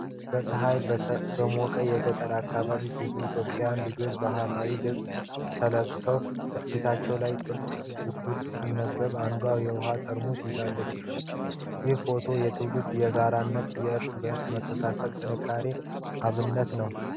በፀሀይ በሞቀው የገጠር አካባቢ፣ ብዙ ኢትዮጵያውያን ልጆች በባህላዊ ልብስ ተሰብስበዋል። ፊታቸው ላይ ጥልቅ ጉጉት ሲነበብ፣ አንዷም የውሀ ጠርሙስ ይዛለች። ይህ ፎቶ የትውልድን የጋራነት፣ የእርስ በእርስ መተሳሰብንና ጥንካሬን አብነት ነው።